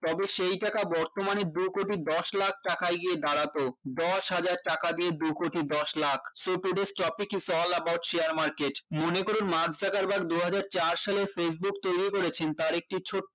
তবে সেই টাকা বর্তমানে দু কোটি দশ লাখ টাকায় গিয়ে দাঁড়াতো দশ হাজার টাকা দিয়ে দু কোটি দশ lakh so today's topic is all about share market মনে করুন মার্ক জুকারবারগ দুই হাজার চার সালে facebook তৈরি করেছেন তার একটি ছোট্ট